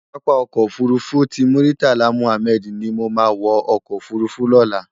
Pàápá Òkò Ófúrúfú ti Múritálá Múhámèd ni mó má wò òkò ófúrúfú lòlá